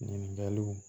Ɲininkaliw